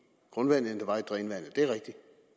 er rigtigt